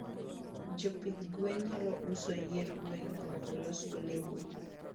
jopidh gwen nyalo uso yier gwen mondo olosgo lewni